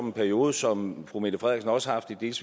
en periode som fru mette frederiksen også har haft et